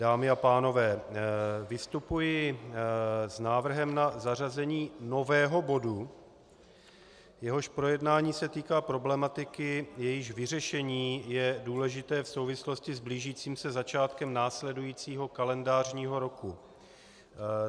Dámy a pánové, vystupuji s návrhem na zařazení nového bodu, jehož projednání se týká problematiky, jejíž vyřešení je důležité v souvislosti s blížícím se začátkem následujícího kalendářního roku.